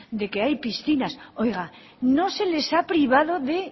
de que hay piscinas oiga no se les ha privado de